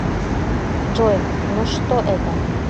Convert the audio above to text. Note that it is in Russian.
джой но что это